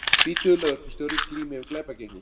Tvítugur lögreglustjóri glímir við glæpagengi